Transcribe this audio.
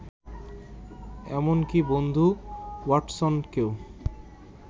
এমনকি বন্ধু ওয়াটসনকেও